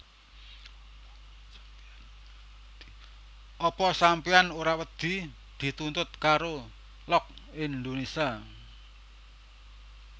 Apa sampeyan ora wedi dituntut karo Look Indonesia